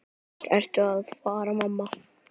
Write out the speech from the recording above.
Hvert ertu að fara, mamma?